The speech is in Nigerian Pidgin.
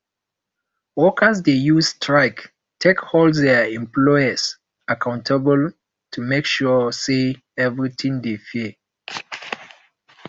workers de use strike take hold their employers accountable to make sure say everything de fair